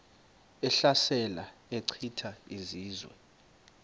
ehlasela echitha izizwe